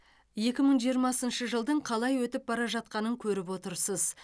екі мың жиырмасыншы жылдың қалай өтіп бара жатқанын көріп отырсыз